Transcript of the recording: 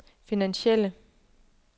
finansielle